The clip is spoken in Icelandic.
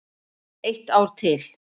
Eitt ár til.